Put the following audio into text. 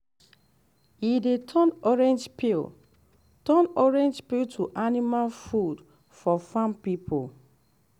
e dey turn orange peel turn orange peel to animal food for farm people